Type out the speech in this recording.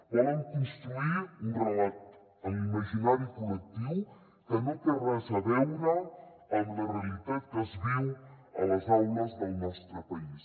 volen construir un relat en l’imaginari col·lectiu que no té res a veure amb la realitat que es viu a les aules del nostre país